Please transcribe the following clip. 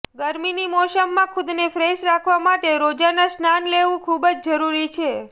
ગરમીની મોસમમાં ખુદને ફ્રેશ રાખવા માટે રોજાના સ્નાન લેવું ખુબ જ જરૂરી છે